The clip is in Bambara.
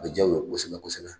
A bɛ ja u ye kosɛbɛ kosɛbɛ